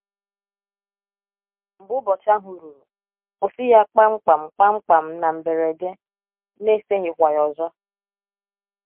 Mgbe ụbọchị ahụ ruru, kwụsị ya kpam kpam kpam kpam — na mberede, n’eseghịkwa ya ọzọ.